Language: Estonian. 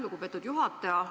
Lugupeetud juhataja!